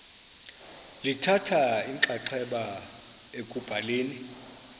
lithatha inxaxheba ekubhaleni